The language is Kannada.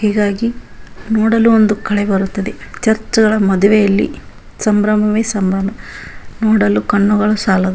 ಹೀಗಾಗಿ ನೋಡಲು ಒಂದು ಕಳೆ ಬರುತ್ತದೆ ಚರ್ಚ್ ಗಾಲ ಮದುವೆಯಲ್ಲಿ ಸಂಭ್ರಮವೇ ಸಂಭ್ರಮ ನೋಡಲು ಕಣ್ಣುಗಳು ಸಾಲದು .